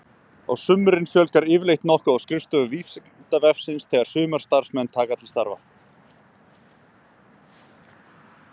Á sumrin fjölgar yfirleitt nokkuð á skrifstofu Vísindavefsins þegar sumarstarfsmenn taka til starfa.